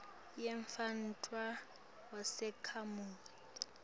yemntfwana wesakhamuti